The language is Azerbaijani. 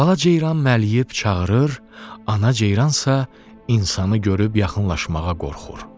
Bala ceyran mələyib çağırır, ana ceyransa insanı görüb yaxınlaşmağa qorxur.